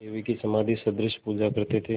देवी की समाधिसदृश पूजा करते थे